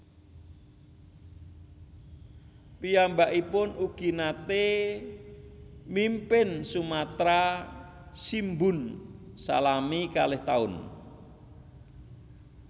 Piyambakipun ugi naté mimpin Sumatra Shimbun salami kalih taun